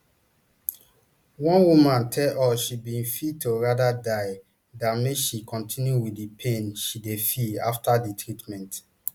one woman tell us she bin feel to rather die dan make she kontinu wit di pain she dey feel afta di treatment